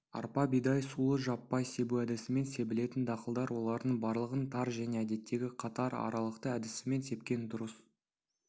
арпа бидай сұлы жаппай себу әдісімен себілетін дақылдар олардың барлығын тар және әдеттегі қатар аралықты әдісімен сепкен дұрыс